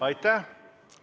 Aitäh!